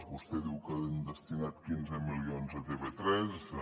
vostè diu que hem destinat quinze milions a tv3